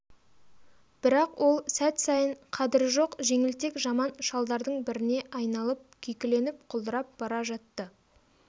бірақ ол сәт сайын қадыры жоқ жеңілтек жаман шалдардың біріне айналып күйкіленіп құлдырап бара жатты